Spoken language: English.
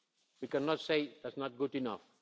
refuse. We cannot say that's not good